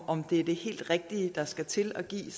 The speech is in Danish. om det er det helt rigtige der skal til at give